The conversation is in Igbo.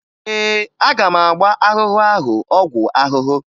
Ee, aga m agba ahụhụ ahụ ọgwụ ahụhụ